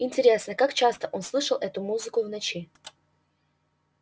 интересно как часто он слышал эту музыку в ночи